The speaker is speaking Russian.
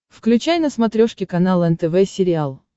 включай на смотрешке канал нтв сериал